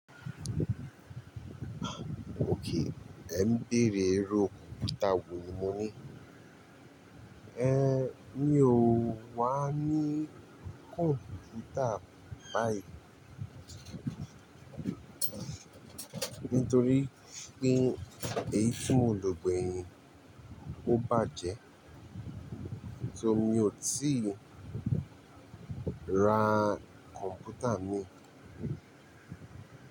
Okay, ẹ ń béèrè irú òkúta wo ni mo ní è, mi ò wà ní kọ̀mpútà báyìí nítorí pé èyí tí mo lò gbẹ̀yin ò bàjẹ́. So mi ò tíì ra kọ̀mpútà mìí.